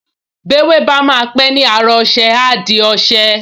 Bí ewé bá máa pẹ́ ni ára ọṣẹ, á di ọṣẹ